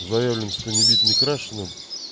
заявлено что не бит не крашена